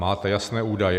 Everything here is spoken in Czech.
Máte jasné údaje?